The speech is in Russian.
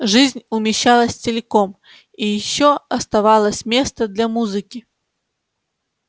жизнь умещалась целиком и ещё оставалось место для музыки